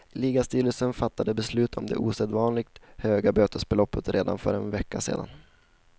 Ligastyrelsen fattade beslut om det osedvanligt höga bötesbeloppet redan för en vecka sedan.